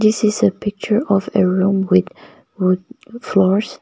this is a picture of a room with wood floors.